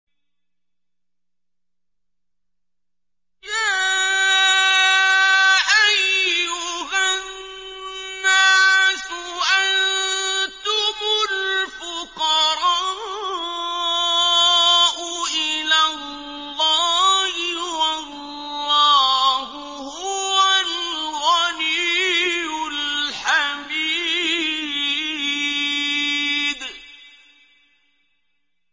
۞ يَا أَيُّهَا النَّاسُ أَنتُمُ الْفُقَرَاءُ إِلَى اللَّهِ ۖ وَاللَّهُ هُوَ الْغَنِيُّ الْحَمِيدُ